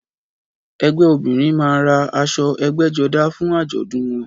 Ẹgbẹ́ obìrin man ra aṣọ ẹbgẹ́jodá fún àjọ̀dún wọn